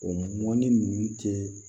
O mɔni ninnu tɛ